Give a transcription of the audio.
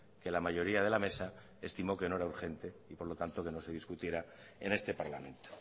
que la mayoría de la mesa estimó que no era urgente y por lo tanto que no se discutiera en este parlamento